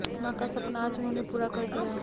मां का सपना आज उन्होंने पूरा कर दिया